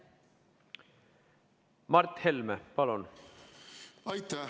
Mart Helme, palun!